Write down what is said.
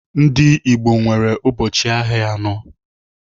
Ndị Igbo nwere ụbọchị ahịa anọ.